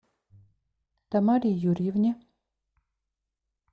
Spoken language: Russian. тамаре юрьевне